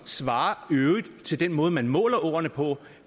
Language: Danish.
svarer til den måde man måler åerne på